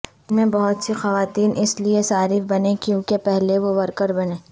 چین میں بہت سی خواتین اس لیے صارف بنیں کیونکہ پہلے وہ ورکر بنیں